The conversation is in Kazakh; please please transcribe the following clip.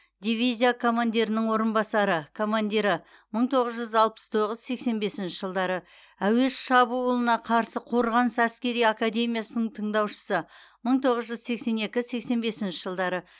дивизия командирінің орынбасары командирі мың тоғыз жүз алпыс тоғыз сексен бесінші жылдары әуе шабуылына қарсы қорғаныс әскери академиясының тыңдаушысы мың тоғыз жүз сексен екі сексен бесінші жылдары